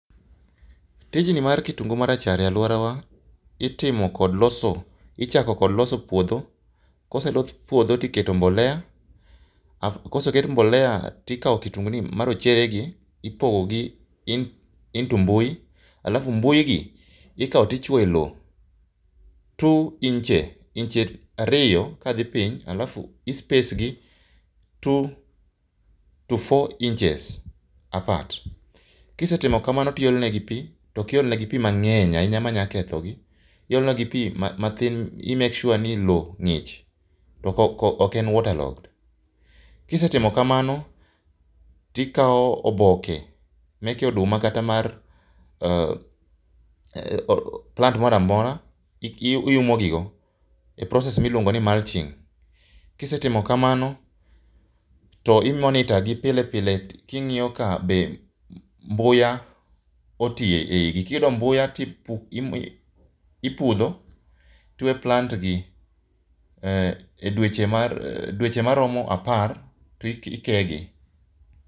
Tijni mar kitungu ma rachar e alwora wa. Itimo kod loso, ichako kod loso puodho, koselos puodho tiketo mbolea. Koseket mbolea tikao kitungu ni ma rochere gi, ipogo gi into mbui alafu mbui gi ikao tichoyo e loo two inches inch ariyo ka dhi piny, alafu i space gi two to four inches apart. Kisetimo kamano tiolo negi pi, tokiol ne gi pi mang'eny ahinya manya ketho gi. Iolo negi pi mathin i make sure ni loo ng'ich to ok en water logged. Kisetimo kamano, tikao oboke meke oduma kata mar plant moroamora iumo gi go, e process miluongo ni mulching. Kisetimo kamano to i monitor gi pile pile king'iyo ka be mbuya oti e igi. Kiyudo mbuya to ipudho, tiwe plant gi e dweche mar dweche maromo apar to ikeyo gi.